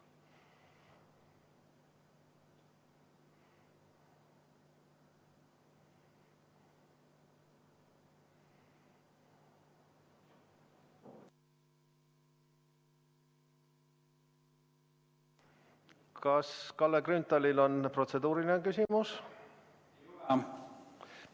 Kas Kalle Grünthalil on protseduuriline küsimus?